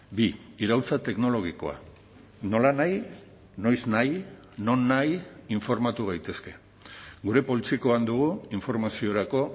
bi iraultza teknologikoa nolanahi noiznahi nonahi informatu gaitezke gure poltsikoan dugu informaziorako